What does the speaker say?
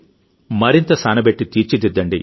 మరింత సానబెట్టి తీర్చి దిద్దండి